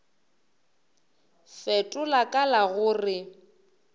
fetola ka la go re